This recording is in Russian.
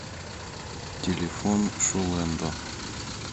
телефон шулэндо